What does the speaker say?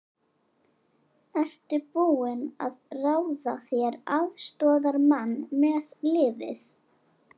Ertu búinn að ráða þér aðstoðarmann með liðið?